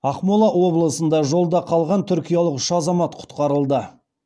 ақмола облысында жолда қалған түркиялық үш азамат құтқарылды